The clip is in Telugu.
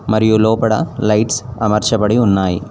మరియు లోపడ లైట్స్ అమర్చబడి ఉన్నాయి.